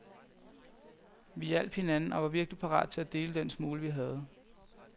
Vi hjalp hinanden og var virkelig parat til at dele den smule, vi havde.